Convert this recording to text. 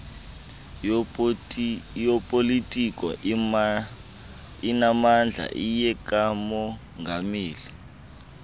yopolitiko inamandla iyekamongameli